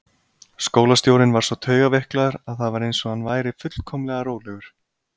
Skólastjórinn var svo taugaveiklaður að það var eins og hann væri fullkomlega rólegur.